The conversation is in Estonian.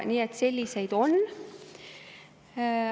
Nii et selliseid on.